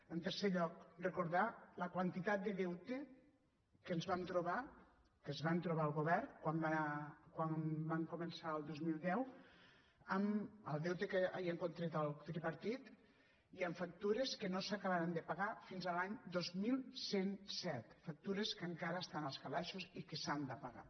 en tercer lloc recordar la quantitat de deute que ens vam trobar que es va trobar el govern quan va començar el dos mil deu amb el deute que havia contret el tripartit i amb fac tures que no s’acabaran de pagar fins a l’any dos mil cent i set factures que encara estan als calaixos i que s’han de pagar